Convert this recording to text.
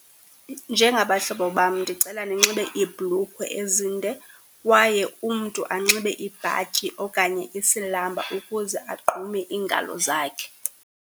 Njengabahlobo bam ndicela ninxibe iibhlukhwe ezinde kwaye umntu anxibe ibhatyi okanye isilamba ukuze agqume ingalo zakhe.